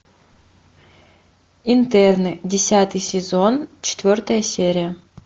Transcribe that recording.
интерны десятый сезон четвертая серия